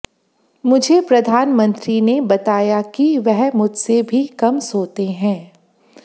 मुझे प्रधानमंत्री ने बताया कि वह मुझसे भी कम सोते हैं